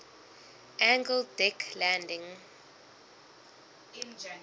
angled deck landing